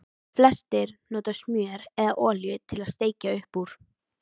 Flestir nota smjör eða olíu til að steikja upp úr.